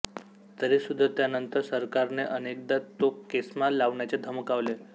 तरीसुद्धा त्यानंतर सरकार ने अनेकदा तो केस्मा लावण्याचे धमकावले